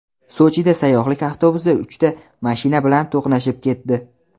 Sochida sayyohlik avtobusi uchta mashina bilan to‘qnashib ketdi.